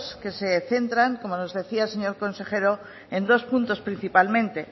que se centran como nos decía el señor consejero en dos puntos principalmente